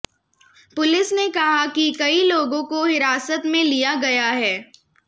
police ने कहा कि कई लोगों को हिरासत में लिया गया है